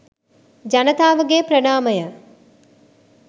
ජනතාවගේ ප්‍රණාමය.